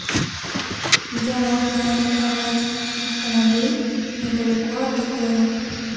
где можно арендовать автомобиль недалеко от отеля